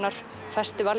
festival